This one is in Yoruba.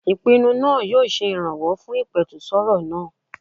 Ìpinnu náà yóò se ìrànwọ́ fún ìpẹ̀tùsááwọ̀ náà.